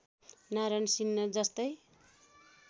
नारायण सिन्हा जस्तै